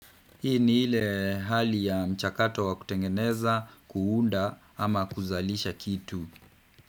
Hii ni ile hali ya mchakato wa kutengeneza, kuunda ama kuzalisha kitu.